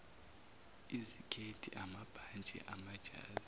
izikhethi amabhantshi amajazi